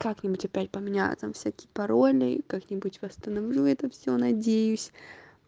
как-нибудь опять поменяю там всякие пароли как-нибудь восстановлю это всё надеюсь